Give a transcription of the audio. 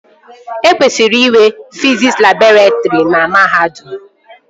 E kwesịrị inwe fiziks labọretrị na mahadum